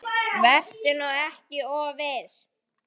Vertu nú ekki of viss.